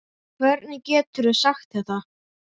Hvernig geturðu sagt þetta?